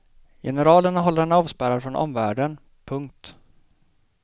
Generalerna håller henne avspärrad från omvärlden. punkt